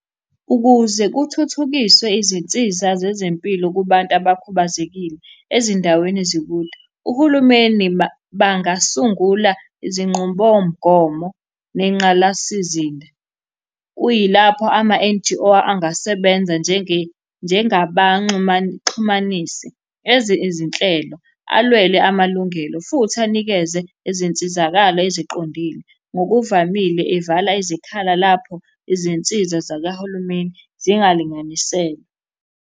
Ukuze kuthuthukiswe izinsiza zezempilo kubantu abakhubazekile ezindaweni ezikude, uhulumeni bangasungula izinqubomgomo nengqalasizinda, kuyilapho ama-N_G_O angasebenza njengabaxhumanisi, enze izinhlelo, alwela amalungelo, futhi anikeze izinsizakalo eziqondile. Ngokuvamile evala izikhala lapho izinsiza zakahulumeni zingalinganiselwe.